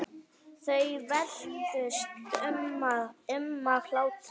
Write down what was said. Þau veltust um af hlátri.